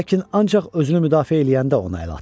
Lakin ancaq özünü müdafiə eləyəndə ona əl at.